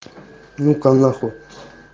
ну-ка на хуй